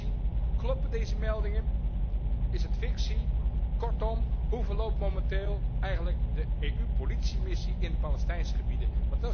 Raad en Commissie, kloppen deze meldingen? Is het fictie? Kortom, hoe verloopt momenteel eigenlijk de EU politiemissie in de Palestijnse gebieden?